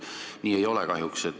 Nii kahjuks ei ole.